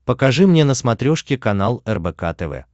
покажи мне на смотрешке канал рбк тв